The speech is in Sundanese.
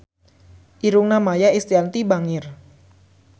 Irungna Maia Estianty bangir